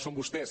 són vostès